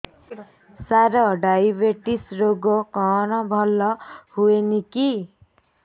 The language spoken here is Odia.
ସାର ଡାଏବେଟିସ ରୋଗ କଣ ଭଲ ହୁଏନି କି